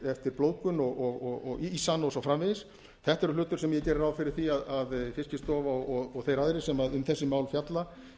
eftir blóðgun og ísa hann og svo framvegis þetta er hlutur sem ég geri ráð fyrir að fiskistofa og þeir aðrir sem um þessi mál fjalla